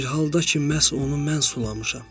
Bir halda ki, məhz onu mən sulamışam.